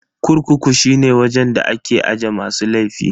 Kurkuku shine wajen da ake aje masu laifi.